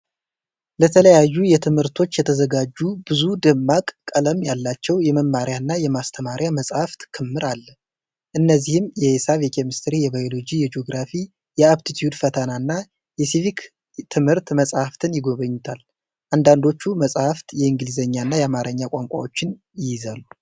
ለተለያዩ ትምህርቶች የተዘጋጁ ብዙ ደማቅ ቀለም ያላቸው የመማሪያና የማመሳከሪያ መጻሕፍት ክምር አለ። እነዚህም የሂሳብ፣ የኬሚስትሪ፣ የባዮሎጂ፣ የጂኦግራፊ፣ የአፕቲትዩድ ፈተና እና የሲቪክ ትምህርት መጻሕፍት ይገኙበታል። አንዳንዶቹ መጻሕፍት የእንግሊዝኛና የአማርኛ ቋንቋዎችን ይይዛሉ።